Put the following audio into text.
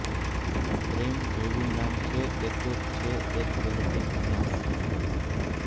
પ્રેમ જેવું નામ છે એ તો છે એક વ્હેતી ભીનાશ